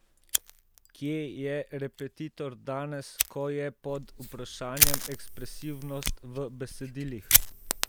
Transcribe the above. Kje je Repetitor danes, ko je pod vprašanjem ekspresivnost v besedilih?